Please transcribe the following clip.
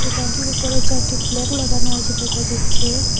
দোকানটির উপরে চারটি ফ্ল্যাগ লাগানো আছে দেখা যাচ্ছে।